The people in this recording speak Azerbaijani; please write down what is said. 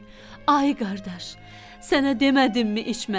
Ay qardaş, sənə demədimmi içmə?